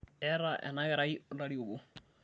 eeta ena karai olarri obo